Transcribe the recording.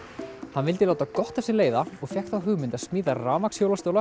hann vildi láta gott af sér leiða og fékk þá hugmynd að smíða